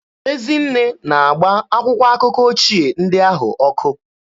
Ezinne ga-agba akwụkwọ akụkọ ochie ndị ahụ ọkụ.